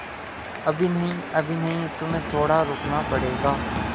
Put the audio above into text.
अभी नहीं अभी नहीं तुम्हें थोड़ा रुकना पड़ेगा